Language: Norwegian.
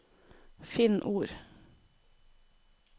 Finn ord